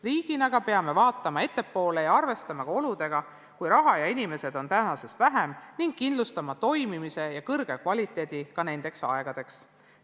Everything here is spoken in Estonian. Riigina aga peame vaatama ettepoole ja arvestama ka oludega, kui raha ja inimesi on tänasest vähem, ning kindlustama toimimise ja kõrge kvaliteedi ka nendeks aegadeks.